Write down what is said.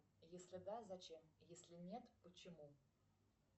если да зачем если нет почему